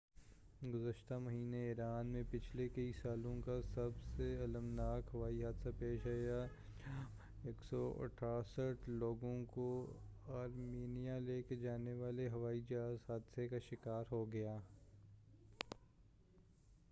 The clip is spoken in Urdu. گزشتہ مہینے ایران میں پچھلے کئی سالوں کا سب سے المناک ہوائی حادثہ پیش آیا جب 168 لوگوں کو آرمینیا لے کر جانے والا ہوائی جہاز حادثے کا شکار ہو گیا